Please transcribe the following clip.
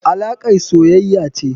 alakar soyaya ce.